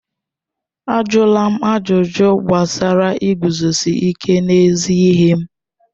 Ajụla m ajụjụ gbasara iguzosi ike n'ezi ihe m!